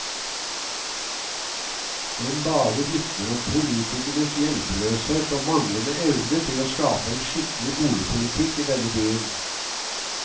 Den bare vitner om politikernes hjelpeløshet og manglende evne til å skape en skikkelig boligpolitikk i denne byen.